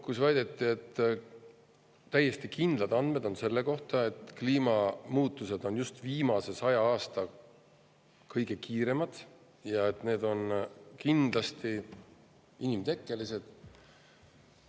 Teises pooles ta väitis, et täiesti kindlad andmed on selle kohta, et kliimamuutused on just viimasel sajal aastal olnud kõige kiiremad ja et need on kindlasti inimtekkelised.